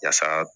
Yasa